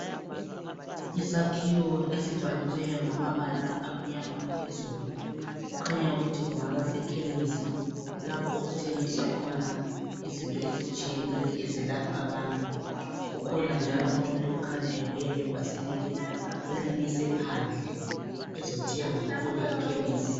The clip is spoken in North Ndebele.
Isakhiwo esibhaliweyo ngamabala amnyama phezulu kukhanya ukuthi kungaba sekhemisi lapho okuthengiswa khona izinto ezitshiyeneyo ezilapha abantu. Kukhona njalo umuntu okhanya ebuye ngebhasikili ulimise phandle, ezothenga kule ikhemisi.